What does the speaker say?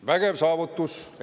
Vägev saavutus!